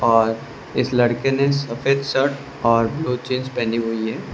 और इस लड़के ने सफेद शर्ट और ब्लू जींस पहनी हुई है।